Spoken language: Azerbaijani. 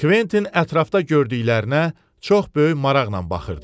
Kventin ətrafda gördüklərinə çox böyük maraqla baxırdı.